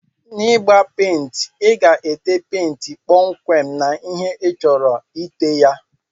N'igba penti iga ete penti kpọmkwem na ihe ichọrọ ite ya.